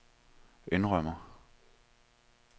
indrømmer